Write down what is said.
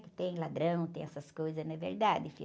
Que tem ladrão, tem essas coisas, não é verdade, filho?